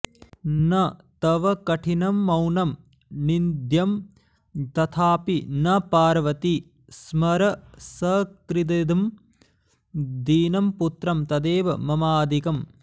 न तव कठिनं मौनं निन्द्यं तथापि न पार्वति स्मर सकृदिमं दीनं पुत्रं तदेव ममाधिकम्